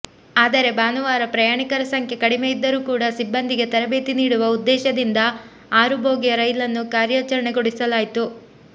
ಆದರೆ ಭಾನುವಾರ ಪ್ರಯಾಣಿಕರ ಸಂಖ್ಯೆ ಕಡಿಮೆ ಇದ್ದರೂ ಕೂಡ ಸಿಬ್ಬಂದಿಗೆ ತರಬೇತಿ ನೀಡುವ ಉದ್ದೇಶದಿಂದ ಆರು ಬೋಗಿಯ ರೈಲನ್ನು ಕಾರ್ಯಾಚರಣೆಗೊಳಿಸಲಾಯಿತು